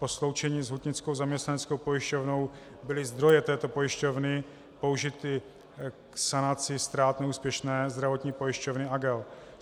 Po sloučení s Hutnickou zaměstnaneckou pojišťovnou byly zdroje této pojišťovny použity k sanaci ztrát neúspěšné zdravotní pojišťovny Agel.